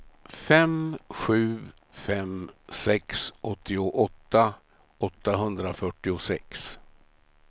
fem sju fem sex åttioåtta åttahundrafyrtiosex